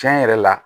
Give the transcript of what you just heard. Tiɲɛ yɛrɛ la